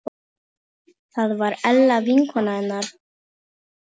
Það var Ella vinkona hennar.